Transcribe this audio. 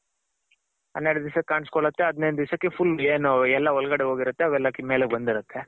ಹನ್ನೆರ್ಡ್ ದಿಸಕ್ಕ್ ಕಾಣ್ಸ್ ಕೊಳ್ಳುತ್ತೆ ಹದಿನೆಂಟ್ ದಿಸಕ್ಕೆ full ಏನು ಎಲ್ಲ ಒಳ್ಗಡೆ ಹೋಗಿರುತ್ತೆ ಅವೆಲ್ಲ ಮೇಲೆ ಬಂದಿರುತ್ತೆ.